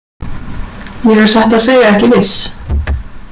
Ég er satt að segja ekki viss.